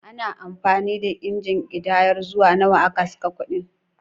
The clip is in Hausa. Ana amfani da injin ƙidayar zuwa nawa aka saka kuɗin.